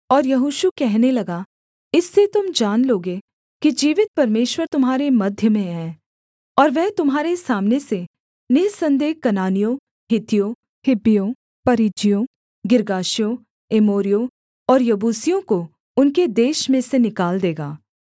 और यहोशू कहने लगा इससे तुम जान लोगे कि जीवित परमेश्वर तुम्हारे मध्य में है और वह तुम्हारे सामने से निःसन्देह कनानियों हित्तियों हिब्बियों परिज्जियों गिर्गाशियों एमोरियों और यबूसियों को उनके देश में से निकाल देगा